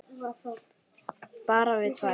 Bara við tvær.